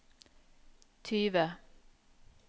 tyve